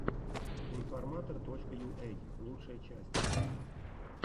информатор точка юэй лучшая часть